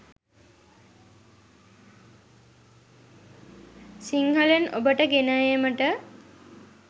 සිංහලෙන් ඔබට ගෙන ඒමට